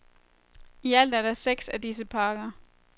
Ialt er der seks af disse parker.